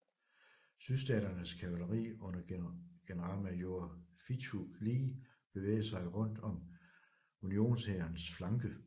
Sydstaternes kavaleri under generalmajor Fitzhugh Lee bevægede sig rundt om unionshærens flanke